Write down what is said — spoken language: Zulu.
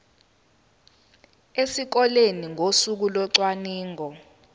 esikoleni ngosuku locwaningo